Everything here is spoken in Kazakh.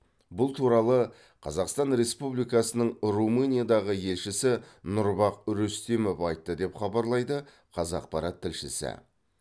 бұл туралы қазақстан республикасының румыниядағы елшісі нұрбах рүстемов айтты деп хабарлайды қазақпарат тілшісі